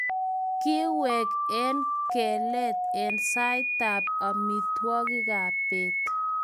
kikwek kengelet eng' saitab amitwogikab beet